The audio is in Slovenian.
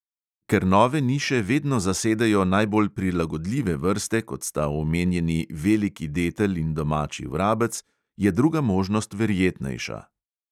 Ker nove niše vedno zasedejo najbolj prilagodljive vrste, kot sta omenjeni veliki detel in domači vrabec, je druga možnost verjetnejša.